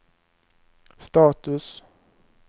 status